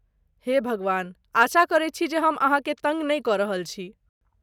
हे भगवान! आशा करैत छी जे हम अहाँकेँ तङ्ग नहि कऽ रहल छी।